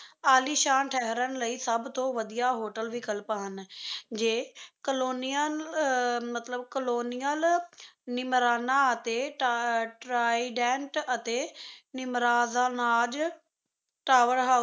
ਆਲੀਸ਼ਾਨ ਠਹਿਰਨ ਲਈ ਸਭ ਤੋਂ ਵਧੀਆ hotel ਵਿਕਲਪ ਹਨ ਜੇ colonial ਮਤਲਬ colonial ਨਿਮਰਾਣਾ ਅਤੇ ਟਰਾਈਡੈਂਟ ਅਤੇ ਨਿਮਰਾਦਾਨਾਜ਼ ਟਾਵਰ ਹਾਊਸ